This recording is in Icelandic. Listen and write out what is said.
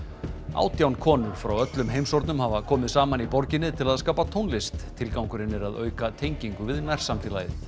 átján konur frá öllum heimshornum hafa komið saman í borginni til að skapa tónlist tilgangurinn er að auka tengingu við nærsamfélagið